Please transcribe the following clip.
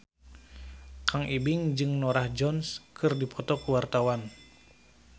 Kang Ibing jeung Norah Jones keur dipoto ku wartawan